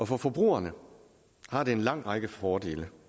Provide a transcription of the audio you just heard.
for forbrugerne har det en lang række fordele